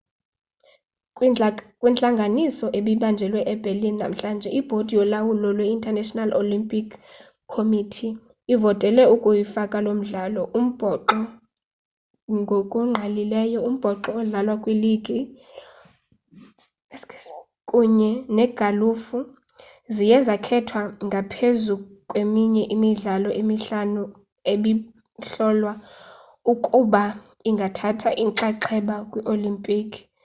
kwintlanganiso ebibanjelwe eberlin namhlanje ibhodi yolawulo lwe-international olympic committee ivotele ukuyifaka loo midlalo umbhoxo ngokungqalileyo umbhoxo odlalwa kwiligi kunye negalufa ziye zakhethwa ngaphezu kweminye imidlalo emihlanu ebihlolwa ukuba ingathatha inxaxheba kwii-olimpiki